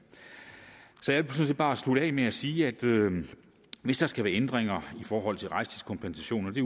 jeg vil bare slutte af med at sige at hvis der skal være ændringer i forhold til rejsetidskompensation og det